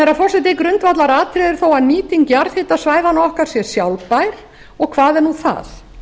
herra forseti grundvallaratriðið er þó að nýting jarðhitasvæðanna okkar sé sjálfbær og hvað er nú það